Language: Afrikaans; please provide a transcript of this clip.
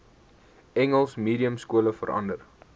engels mediumskole verander